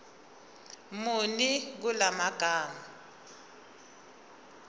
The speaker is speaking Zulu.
muni kula magama